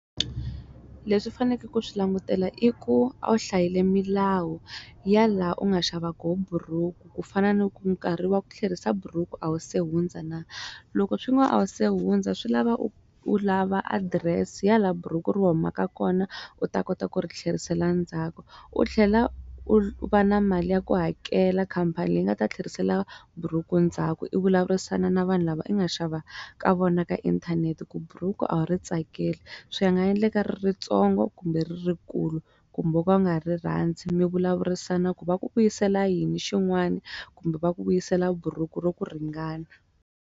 Leswi faneke ku swi langutela i ku a wu hlayile milawu ya laha u nga xava kona buruku ku fana na ku nkarhi wa ku tlherisa buruku a wu se hundza na loko swin'wa a wu se hundza swi lava u lava adirese ya laha buruku ri humaka kona u ta kota ku ri tlherisela ndzhaku u tlhela u va na mali ya ku hakela khampani leyi nga ta tlherisela buruku ndzhaku i vulavurisana na vanhu lava i nga xava ka vona ka inthanete ku buruku a wu ri tsakeli swi nga endleka ri ritsongo kumbe ri rikulu kumbe ku va nga rirhandzu mi vulavurisana ku va ku vuyisela yini xin'wani kumbe va ku vuyisela buruku ro ku ringana.